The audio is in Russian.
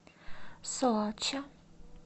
соача